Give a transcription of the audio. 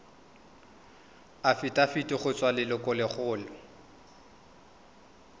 afitafiti go tswa go lelokolegolo